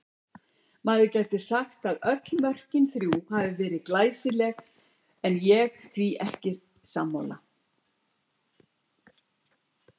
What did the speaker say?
Maður gæti sagt að öll mörkin þrjú hafi verið glæsileg en ég því ekki sammála.